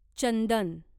चंदन